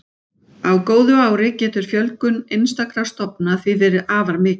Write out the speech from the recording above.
Á góðu ári getur fjölgun einstakra stofna því verið afar mikil.